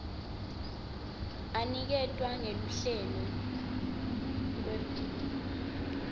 aniketwa ngeluhlelo lwepdf